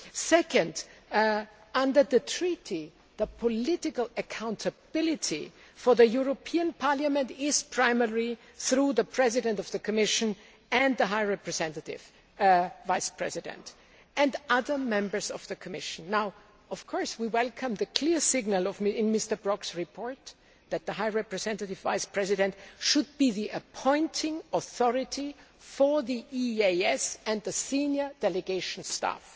Second, under the Treaty, the political accountability for the European Parliament is primarily through the President of the Commission and the High Representative Vice President and other Members of the Commission. We welcome the clear signal in Mr Brok's report that the High Representative Vice President should be the appointing authority for the EEAS and the senior delegation staff.